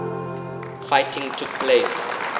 fighting took place